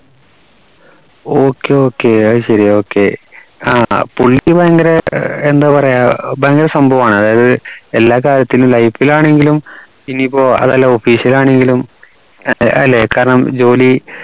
okay okay അയ്‌ശേരി okay ആഹ് പുള്ളി ഭയങ്കര എന്താ പറയാ ഭയങ്കര സംഭവണ് അതായത് എല്ലാ കാര്യത്തിലും life ൽ ആണെങ്കിലും ഇനിയിപ്പോ ൽ ആണെങ്കിലും ന്റെ ല്ലേ കാരണം ജോലി